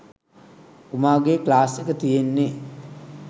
උමාගෙ class එක තියෙන්නෙ